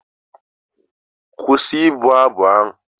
Kwụsị ịbụ abụ ugbu a!